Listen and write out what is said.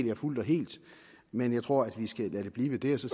jeg fuldt og helt men jeg tror vi skal lade det blive ved det og så